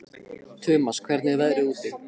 Tumas, hvernig er veðrið úti?